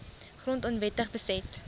grond onwettig beset